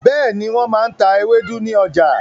Bẹ́ẹ̀ni, wọ́n máa n ta ewédú ní ọjà